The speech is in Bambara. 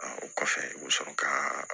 o kɔfɛ u bɛ sɔrɔ ka